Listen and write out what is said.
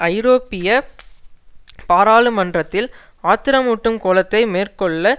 ஐரோப்பிய பாராளுமன்றத்தில் ஆத்திரமூட்டும் கோலத்தை மேற்கொள்ள